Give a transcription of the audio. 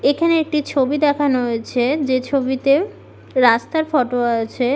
এইখানে একটি ছবি দেখানো হয়েছে। যে ছবিতে রাস্তার ফটো আছে-এ ।